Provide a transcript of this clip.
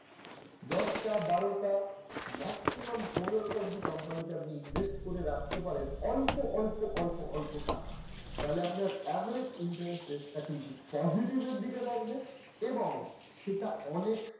দশটা বারোটা maximum পনের টা অব্দি company তে আপনি invest করে রাখতে পারেন অল্প অল্প অল্প অল্প টাকা তাহলে আপনার average interest rate টা কিন্তু positive এর দিকে থাকবে এবং সেটা অনেক